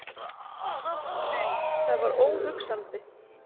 Nei, það var óhugsandi!